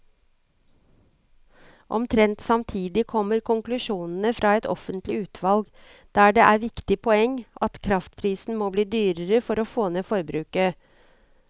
Omtrent samtidig kommer konklusjonene fra et offentlig utvalg, der et viktig poeng er at kraftprisen må bli dyrere for å få ned forbruket.